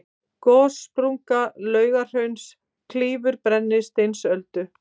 gossprunga laugahrauns klýfur brennisteinsöldu